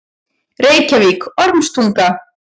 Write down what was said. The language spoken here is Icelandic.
Reykjavík: Ormstunga.